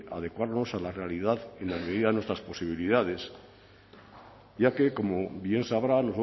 adecuarnos a la realidad en la medida de nuestras posibilidades ya que como bien sabrá